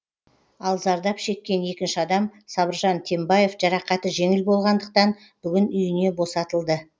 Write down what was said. ал зардап шеккен екінші адам сабыржан тембаев жарақаты жеңіл болғандықтан бүгін үйіне босатылды